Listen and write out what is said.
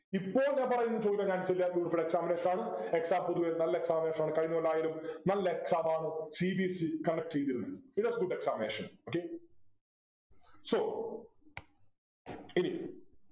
ഇപ്പോൾ ഞാൻ പറയുന്ന ചോദ്യത്തിന് ഞാൻ ചെയ്യാൻ exam based ആണ് Exam പൊതുവേ നല്ല Examination ആണ് കഴിഞ്ഞ കൊല്ലം ആയാലും നല്ല Exam മാണ് cbseconduct ചെയ്തിരുന്നത് It was good examination okay so ഇനി